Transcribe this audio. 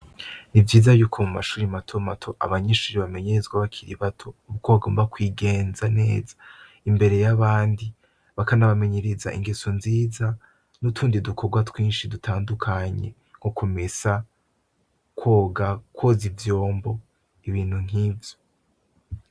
Ni vyiza yuko mu mashure mato mato abanyeshure bamenyezwa bakiri bato uko bagomba kwigenza neza imbere y'abandi, bakanabamenyereza ingeso nziza n'utundi dukorwa twinshi dutandukanye nko kumesa, koga, kwoza ivyombo, ibintu nkivyo.